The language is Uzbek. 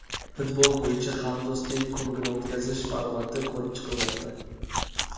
Futbol bo‘yicha Hamdo‘stlik Kubogini o‘tkazish formati ko‘rib chiqilmoqda.